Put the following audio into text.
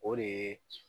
O de ye